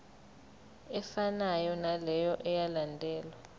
efanayo naleyo eyalandelwa